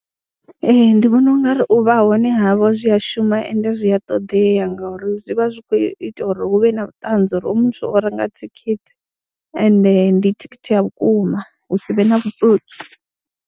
Ee, ndi vona u nga ri u vha hone havho zwi ya shuma ende zwi a ṱoḓea ngauri zwi vha zwi khou ita uri hu vhe na vhuṱanzi ha uri hoyo muthu o renga thikhithi ende ndi thikhithi ya vhukuma, hu si vhe na vhutsotsi.